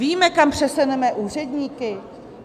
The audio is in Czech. Víme, kam přesuneme úředníky?